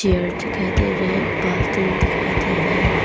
दिखाई दे रहा है बाल तीन दिखाई दे रहा है।